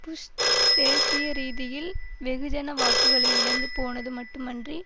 push தேசிய ரீதியில் வெகுஜன வாக்குகளை இழந்து போனது மட்டுமன்றி